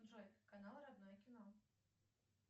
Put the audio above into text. джой канал родное кино